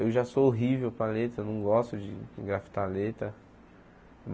Eu já sou horrível para letra, não gosto de engraftar letra.